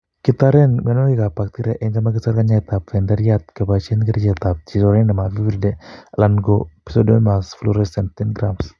Kitoren mionwokikab bacteria en chemoikosor kanyaetab tenderriat keboisien kerichotab Trichoderma viride alan ko Pseudomonas fluorescens 10g/kg.